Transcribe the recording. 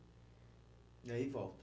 E aí volta?